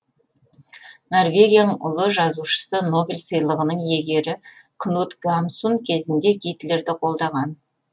норвегияның ұлы жазушысы нобель сыйлығының иегері кнут гамсун кезінде гитлерді қолдаған